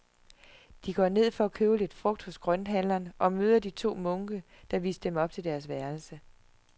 De går ned for at købe lidt frugt hos grønthandleren og møder de to munke, der viste dem op til deres værelse.